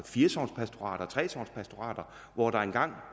fire og tre sogns pastorater hvor der engang